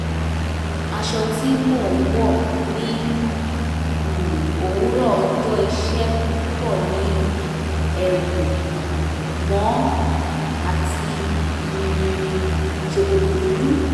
aṣọ tí mo ń wọ̀ ní um òwúrọ̀ ọjọ́ iṣẹ́ púpọ̀ ni ẹ̀wù mọ́ àti um ṣòkòtò dúdú